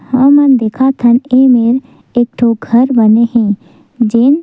हमन देखत हन ये मेर एक ठो घर बने हे जेन--